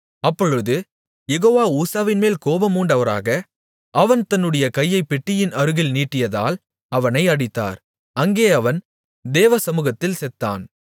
அப்பொழுது யெகோவா ஊசாவின்மேல் கோபம்மூண்டவராக அவன் தன்னுடைய கையைப் பெட்டியின் அருகில் நீட்டியதால் அவனை அடித்தார் அங்கே அவன் தேவசமுகத்தில் செத்தான்